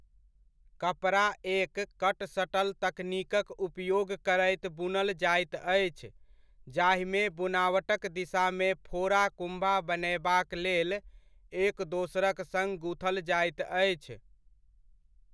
कपड़ा एक 'cut shuttle तकनीक'क उपयोग करैत बुनल जाइत अछि, जाहिमे बुनावटक दिशामे फोड़ा कुम्भा बनयबाक लेल एक दोसरक सङ्ग गुथल जाइत अछि।